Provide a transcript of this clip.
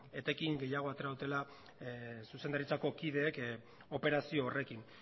etekin gehiago atera dutela zuzendaritzako kideek operazio horrekin